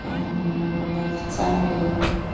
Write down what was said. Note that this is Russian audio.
аа на официальный